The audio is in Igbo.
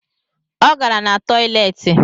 O gara na toileti